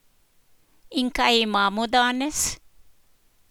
In kaj imamo danes?